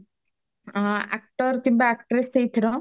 actor କିମ୍ବା actress ସେଇଥିର